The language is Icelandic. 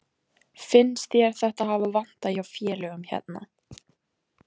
Finnst þér þetta hafa vantað hjá félögum hérna?